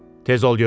Tez ol dedim.